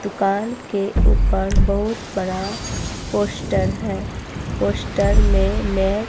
दुकान के ऊपर बहोत बड़ा पोस्टर है। पोस्टर मे मै--